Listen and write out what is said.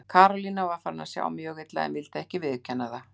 Karólína var farin að sjá mjög illa en vildi ekki viðurkenna það.